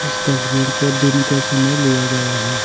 इस तस्वीर को दिन के समय लिया गया है।